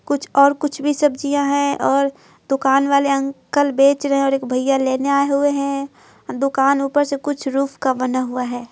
कुछ और कुछ भी सब्जियां हैं और दुकान वाले अंकल बेच रहे हैं और एक भैया लेने आए हुए हैं दुकान ऊपर से कुछ रूफ का बना हुआ है।